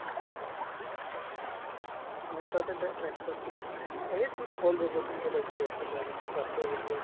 মোৰ তাতে এটা apps আছিলে মানে এই সেইটোত hall recording কেইটা দি আছিলে আৰু পিকাচু বুলি apps